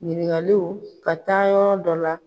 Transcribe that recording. Ɲininkaliw ka taa yɔrɔ dɔ la.